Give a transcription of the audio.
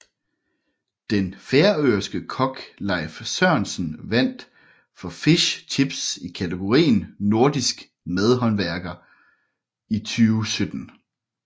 Den færøske kok Leif Sørensen vandt for Fish Chips i kategorien Nordisk madhåndværker 2017